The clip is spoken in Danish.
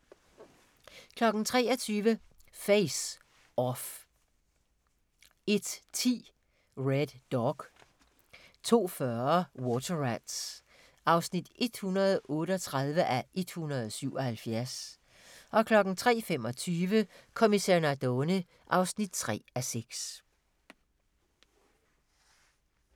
23:00: Face/Off 01:10: Red Dog 02:40: Water Rats (138:177) 03:25: Kommissær Nardone (3:6)